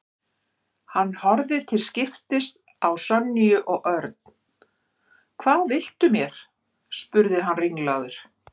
Hann horfði til skiptis á Sonju og Örn. Hvað viltu mér? spurði hann ringlaður.